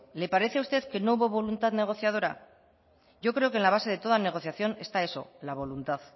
le parece a usted que no hubo voluntad negociadora yo creo que en la base de toda negociación está eso la voluntad